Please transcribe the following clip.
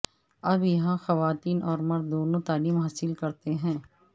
اب یہاں خواتین اور مرد دونوں تعلیم حاصل کرتے ہیں